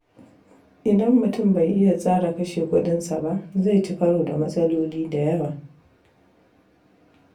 Idan mutum bai iya tsara kashe kudinsa ba, zai ci karo da matsaloli da yawa.